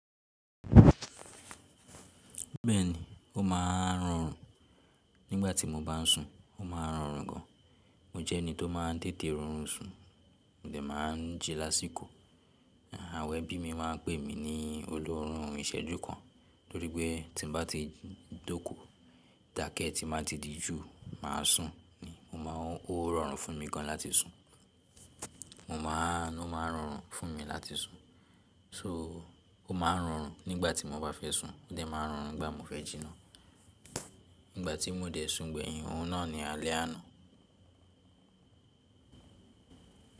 Bẹ́ẹ̀ni, ó máa ń rọrùn. Nígbà tí mo bá ń sùn, ó máa ń rọrùn gan. Mo jẹ́ ẹni tó máa ń tètè rọrùn sùn, ó dà máa ń jẹ lásìkò. Àwọn ẹbí mi máa ń pè mí ní olóórùn ìṣẹ́jú kan, torí pé tí bá ti jókò, tàkẹ́ tí màá ti di jù, màá sùn ni. Mo máa ń, ó rọrùn fún mi gan láti sùn. Mo máa, ó máa ń rọrùn fún mi láti sùn. So ó máa ń rọrùn nígbà tí mo bá fẹ́ sùn, ó de máa ń rọrùn gbà mo fẹ́ jì nàa. Nígbà tí mo dẹ̀ sùn gbẹ̀yìn, òun náà ni alẹ́ àná.